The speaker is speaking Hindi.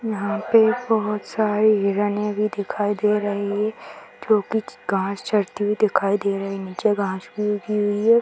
यहाँ पे बहुत सारी हिरणे भी दिखाई दे रही हैं जो की घास चरते हुई दिखाई दे रही है नीचे घास भी उगी हुई है |